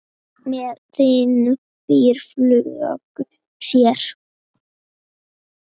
Með þingum fýrar fjölga sér.